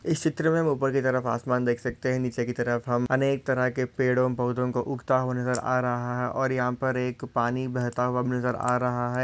इस चित्र मे ऊपर की तरफ आसमान देख सकते है। नीचे की तरफ हम अनेक तरह के पेड़ों पौधे को उगता हुआ नज़र आ रहा है और यहाँ पर एक पानि बहता हुआ नज़र आ रहा है।